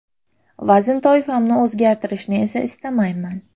Vazn toifamni o‘zgartirishni esa istamayman.